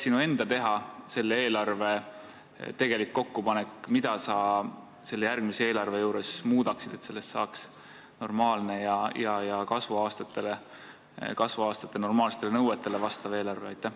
Kui eelarve kokkupanek oleks sinu teha, mida sa järgmise aasta eelarves muudaksid, et sellest saaks kasvuaastate normaalsetele nõuetele vastav eelarve?